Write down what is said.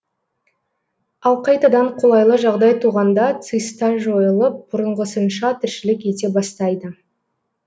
ал қайтадан қолайлы жағдай туғанда циста жойылып бұрынғысынша тіршілік ете бастайды